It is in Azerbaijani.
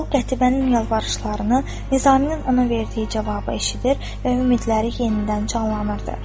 O Qətibənin yalvarışlarını, Nizaminin ona verdiyi cavabı eşitir və ümidləri yenidən canlanırdı.